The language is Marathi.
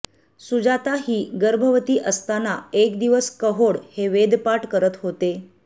सुजाता ही गर्भवती असताना एक दिवस कहोड हे वेदपाठ करत होते